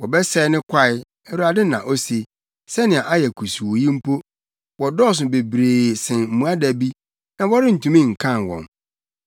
Wɔbɛsɛe ne kwae,” Awurade na ose, “sɛnea ayɛ kusuu yi mpo. Wɔdɔɔso bebree sen mmoadabi, na wɔrentumi nkan wɔn.